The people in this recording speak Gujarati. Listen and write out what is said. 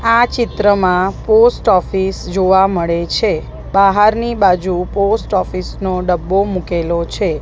આ ચિત્રમાં પોસ્ટ ઑફિસ જોવા મળે છે બાહારની બાજુ પોસ્ટ ઑફિસ નો ડબ્બો મુકેલો છે.